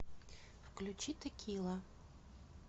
включи текила